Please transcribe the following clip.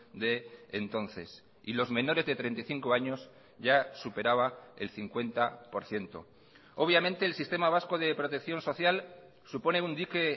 de entonces y los menores de treinta y cinco años ya superaba el cincuenta por ciento obviamente el sistema vasco de protección social supone un dique